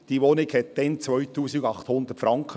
Diese Wohnung kostete damals 2800 Franken.